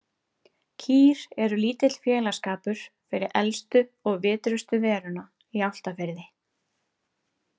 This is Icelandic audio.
Kýr eru lítill félagsskapur fyrir elstu og vitrustu veruna í Álftafirði.